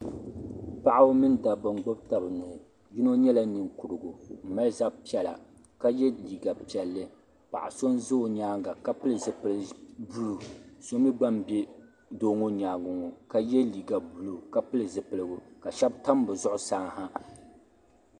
Paɣaba min dabba n gbibi taba nuhi yino nyɛla ninkurigu m mali zab'piɛlla ka ye liiga piɛlli paɣa so n za o nyaanga ka pili zipil'buluu so mee gba m be doo ŋɔ nyaanga ŋɔ ka ye liiga buluu ka pili zipiligu sheba tam bɛ zuɣusaa ha.